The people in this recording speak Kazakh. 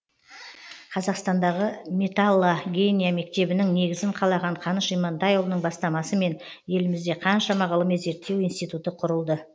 қазақстандағы металлогения мектебінің негізін қалаған қаныш имантайұлының бастамасымен елімізде қаншама ғылыми зерттеу институты құрылды